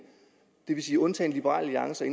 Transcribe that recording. det vil sige undtagen liberal alliance